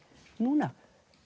núna